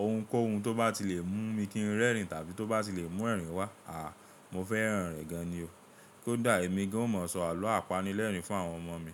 Ohunkóhun tó bá ti lè mú mi kí n rẹ́rìn tàbí tó bá ti lè mú ẹ̀rín wá, àá mo fẹ́ràn rẹ̀ gan ni o. Kódà èmi gan o mọ sọ àlọ́ apanilẹ́rìn fún àwọn ọmọ mi.